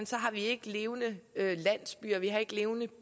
så har vi ikke levende landsbyer vi har ikke levende